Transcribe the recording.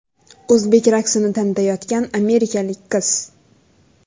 O‘zbek raqsini tanitayotgan amerikalik qiz.